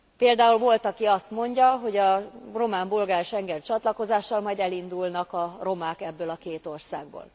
Például volt, aki azt mondja, hogy a román bolgár schengeni csatlakozással majd elindulnak a romák ebből a két országból.